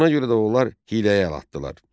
Buna görə də onlar hiyləyə əl atdılar.